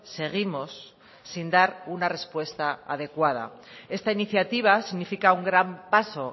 seguimos sin dar una respuesta adecuada esta iniciativa significa un gran paso